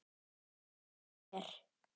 Hvar er